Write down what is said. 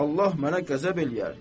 Allah mənə qəzəb eləyər.